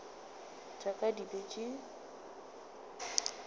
tša ka di be di